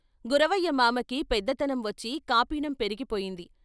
" గురవయ్య మామకి పెద్దతనం వచ్చి కాపీనం పెరిగిపోయింది.